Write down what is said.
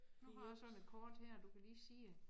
Nu har jeg sådan et kort her du kan lige se det